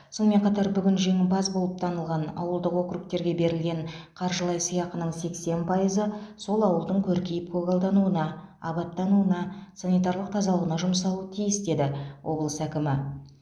сонымен қатар бүгін жеңімпаз болып танылған ауылдық округтерге берілген қаржылай сыйақының сексен пайызы сол ауылдың көркейіп көгалдануына абаттануына санитарлық тазалығына жұмсалуы тиіс деді облыс әкімі